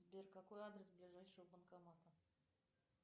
сбер какой адрес ближайшего банкомата